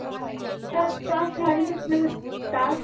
ତା ତା ଶାଢୀର ମାନେ ତା